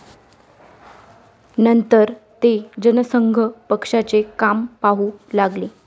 नंतर ते जनसंघ पक्षाचे काम पाहू लागले.